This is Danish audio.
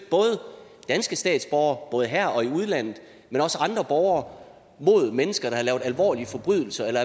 danske statsborgere både her og i udlandet men også andre borgere mod mennesker som har lavet alvorlige forbrydelser